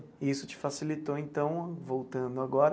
E isso te facilitou, então, voltando agora,